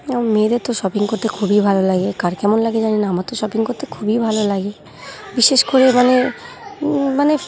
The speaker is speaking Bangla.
মেয়েরা তো শপিং করতে খুবই ভালো লাগে কার কেমন লাগে জানিনা আমার তো শপিং করতে খুবই ভালো লাগে বিশেষ করে মানে ওম মানে--